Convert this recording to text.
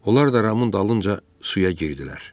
Onlar da Ramın dalınca suya girdilər.